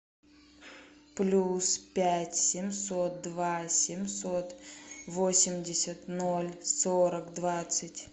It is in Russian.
плюс пять семьсот два семьсот восемьдесят ноль сорок двадцать